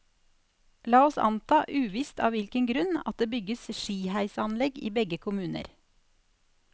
La oss nå anta, uvisst av hvilken grunn, at det bygges skiheisanlegg i begge kommuner.